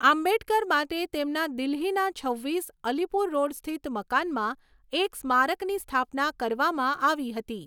આંબેડકર માટે તેમના દિલ્હીના છવ્વીસ, અલીપુર રોડ સ્થિત મકાનમાં એક સ્મારકની સ્થાપના કરવામાં આવી હતી.